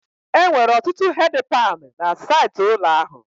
Enwere ọtụtụ hedi pani na saịtị ụlọ ahụ